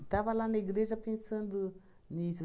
Estava lá na igreja pensando nisso.